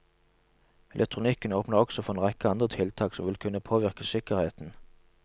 Elektronikken åpner også for en rekke andre tiltak som vil kunne påvirke sikkerheten.